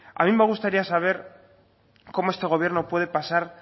a mí me gustaría saber cómo este gobierno puede pasar